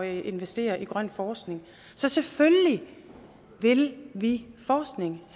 investere i grøn forskning så selvfølgelig vil vi forskning